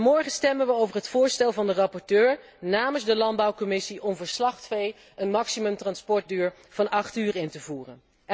Morgen stemmen we over het voorstel van de rapporteur namens de Landbouwcommissie om een maximumtransportduur van acht uur in te voeren.